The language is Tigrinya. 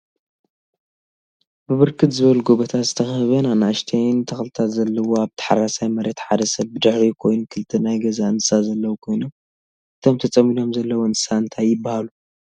ብብርክ ዝበሉ ጎቦታት ዝተከበበን ኣናእሽተይን ተክልታት ዘለዎ ኣብ ታሓራሳይ መሬት ሓደ ሰብ ብድሕሪኦም ኮይኑ ክልተ ናይ ገዛ እንስሳ ዘለው ኮይኖም እቶም ተፀሚዶም ዘለው እንስሳ እንታይ ይብሃሉ?